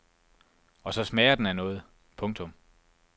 Og så smager den af noget. punktum